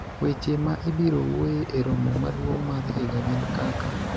weche ma ibiro wuoye e romo maduong' mar higa gin kaka